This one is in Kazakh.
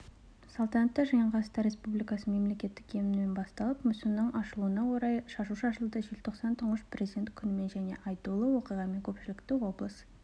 салтанатты жиын қазақстан республикасының мемлекеттік гимнімен басталып мүсіннің ашылуына орай шашу шашылды желтоқсан тұңғыш президент күнімен және айтулы оқиғамен көпшілікті облыс